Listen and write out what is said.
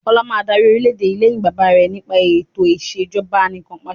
Ọlá máa dárí orìlẹ̀dé yìí lẹ́yìn bàbá rẹ̀ nípa eto ìsèjọba anìkanpàṣẹ